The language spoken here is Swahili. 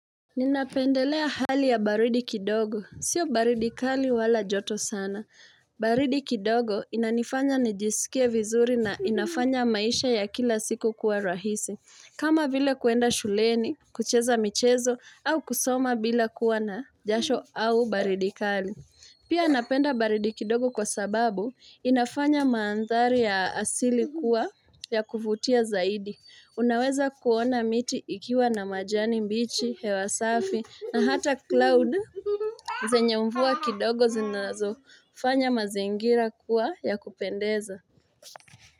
Ninapendelea hali ya baridi kidogo. Sio baridi kali wala joto sana. Baridi kidogo inanifanya nijisikie vizuri na inafanya maisha ya kila siku kuwa rahisi. Kama vile kuenda shuleni, kucheza michezo, au kusoma bila kuwa na jasho au baridi kali. Pia napenda baridi kidogo kwa sababu inafanya mandhari ya asili kuwa ya kuvutia zaidi. Unaweza kuona miti ikiwa na majani mbichi, hewa safi na hata cloud. Zenye mvua kidogo zinazofanya mazingira kuwa ya kupendeza.